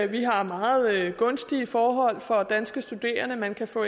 vi har meget gunstige forhold for danske studerende man kan få